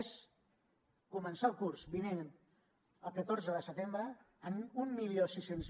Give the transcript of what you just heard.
és començar el curs vinent el catorze de setembre amb mil sis cents